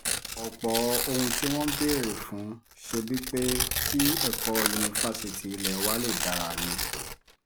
ọ̀pọ̀ ohun tí wọ́n ń béèrè fún ṣebí pé kí ẹ̀kọ́ yunifásitì ilé wa lè dára ni